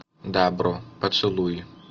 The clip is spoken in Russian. дабро поцелуй